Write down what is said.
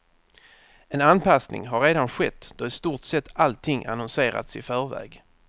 En anpassning har redan skett då i stort sett allting annonserats i förväg.